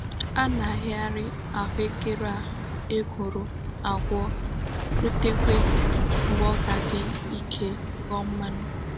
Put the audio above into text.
A na-arighari ahuekere a ekworo akwo rutekwa mgbe o ga-adi Ike ghoo mmanu.